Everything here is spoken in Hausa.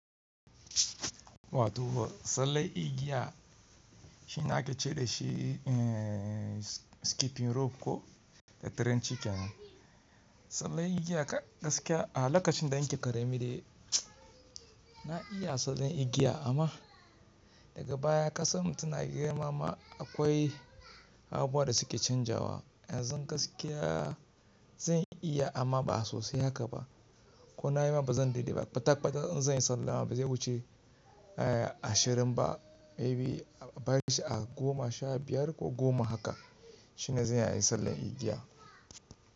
Wato sallan igiya shine ake ce dashi skipping rope ko the trenching. Sallar igiya kaskiya a lokacin da an ƙaremi dai na iya sallan igiya amma daga baya ƙasar mu tana girma ma akwai abubuwa da suke canjawa. Yanzu gaskiya zan iya amma ba sosai haka ba. Ko na yi ma bazan deliver ba. Tak ba tak in zanyi sallan ma ba zai wuce ashirin ba maybe a bari shi a goma sha biyar ko goma haka shine zan iya yi sallan igiya.